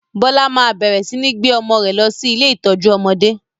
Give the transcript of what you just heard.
Bọlá máa bẹ̀rẹ̀ sini gbé ọmọ rẹ lọ sí ilé ìtọ́jú ọmọdé.